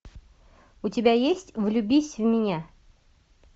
у тебя есть влюбись в меня